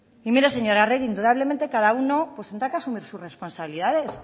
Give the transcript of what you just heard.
mire señora arregi indudablemente cada uno tendrá que asumir su responsabilidades